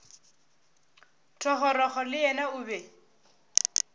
thogorogo le yena o be